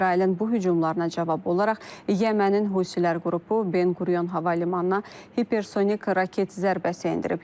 İsrailin bu hücumlarına cavab olaraq, Yəmənin Husilər qrupu Ben Qurion Hava Limanına hipersonik raket zərbəsi endirib.